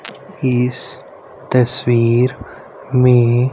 इस तस्वीर में--